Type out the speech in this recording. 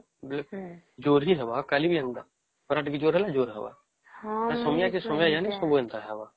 ଜୋର ହିଁ ହେବ ଆଉ ଖରା ଟିକେ ଜୋର ହେବ ତା ଜୋର ରେ ହିଁ ହେବ ସମୟ କେ ସମୟ ଜଣେ ସବୁ ଏନ୍ତା ହବ